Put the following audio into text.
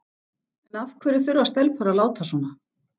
En af hverju þurfa stelpur að láta svona?